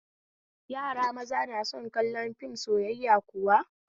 Yara maza na son kallon fim na soyayya kuwa?